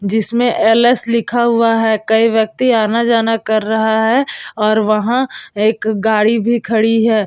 जिसमे एल.एस लिखा हुआ है कई व्यक्ति आना जान कर रहा है और वहाँ एक गाड़ी भी खड़ी है ।